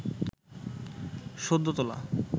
সদ্য তোলা